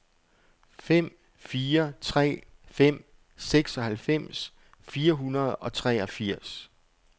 fem fire tre fem seksoghalvfems fire hundrede og treogfirs